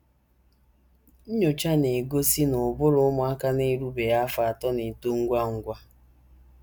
Nnyocha na - egosi na ụbụrụ ụmụaka na - erubeghị afọ atọ na - eto ngwa ngwa.